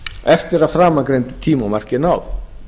eftir að framangreindu tímamarki er náð